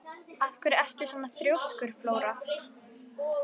Af hverju ertu svona þrjóskur, Flóra?